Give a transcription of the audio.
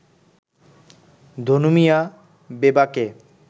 Dhanu Mia বেবাকে